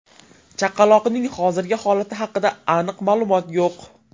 Chaqaloqning hozirgi holati haqida aniq ma’lumot yo‘q.